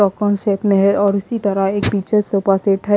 Choco shape में है और इसी तरह एक पीछे सोफा सेट है।